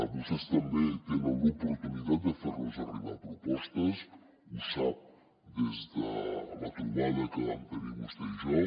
vostès també tenen l’oportunitat de fer nos arribar propostes ho sap des de la trobada que vam tenir vostè i jo